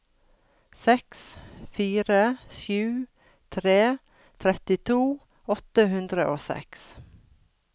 seks fire sju tre trettito åtte hundre og seks